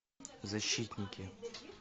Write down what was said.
защитники